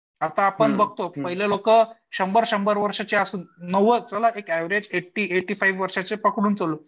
आता आपण बघतो पहिले लोकं शंभर शंभर वर्षाचे असून नव्वद एक ऍव्हरेज ऐटी ऐटी फाईव्हचे पकडून चलू.